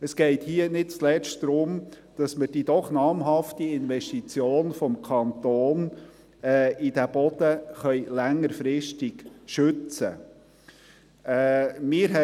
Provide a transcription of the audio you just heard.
Es geht hier nicht zuletzt darum, dass wir die doch namhafte Investition des Kantons in den Boden längerfristig schützen können.